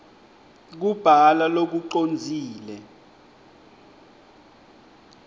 kubhala lokucondzile